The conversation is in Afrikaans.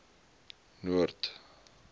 noord